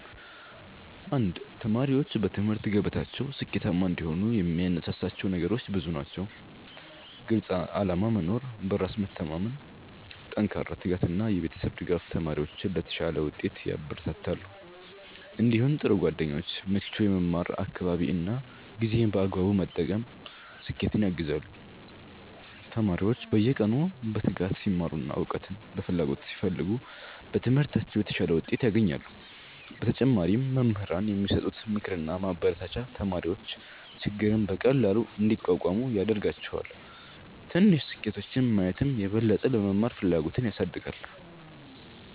1ተማሪዎች በትምህርት ገበታቸው ስኬታማ እንዲሆኑ የሚያነሳሳቸው ነገሮች ብዙ ናቸው። ግልፅ ዓላማ መኖር፣ በራስ መተማመን፣ ጠንካራ ትጋት እና የቤተሰብ ድጋፍ ተማሪዎችን ለተሻለ ውጤት ያበረታታሉ። እንዲሁም ጥሩ ጓደኞች፣ ምቹ የመማር አካባቢ እና ጊዜን በአግባቡ መጠቀም ስኬትን ያግዛሉ። ተማሪዎች በየቀኑ በትጋት ሲማሩ እና እውቀትን በፍላጎት ሲፈልጉ በትምህርታቸው የተሻለ ውጤት ያገኛሉ። በተጨማሪም መምህራን የሚሰጡት ምክርና ማበረታቻ ተማሪዎች ችግርን በቀላሉ እንዲቋቋሙ ያደርጋቸዋል። ትንሽ ስኬቶችን ማየትም የበለጠ ለመማር ፍላጎት ያሳድጋል።